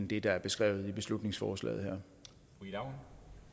det der er beskrevet i beslutningsforslaget her